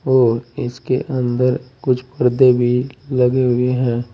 और इसके अंदर कुछ पर्दे भी लगे हुए है।